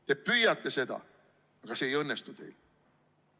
Te püüate seda, aga see ei õnnestu teil.